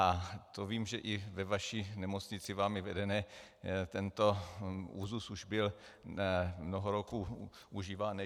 A to vím, že i ve vaší nemocnici, vámi vedené, tento úzus už byl mnoho roků užíván.